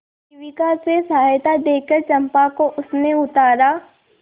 शिविका से सहायता देकर चंपा को उसने उतारा